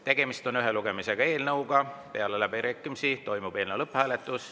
Tegemist on ühe lugemisega eelnõuga, peale läbirääkimisi toimub eelnõu lõpphääletus.